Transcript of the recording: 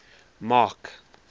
mark